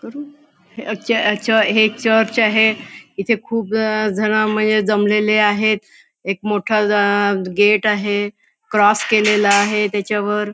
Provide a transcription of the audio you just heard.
करू अ च च हे एक चर्च आहे येथे खूप जना मय जमलेले आहेत एक मोठा अ गेट आहे क्रॉस केलेला आहे त्याच्यावर.